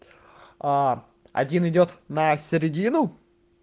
а один идёт на середину